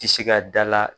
Tɛ se ka dala